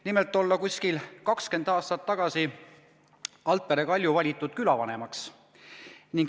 Nimelt olla Altpere Kalju umbes 20 aastat tagasi valitud külavanemaks.